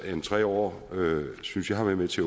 end tre år synes jeg har været med til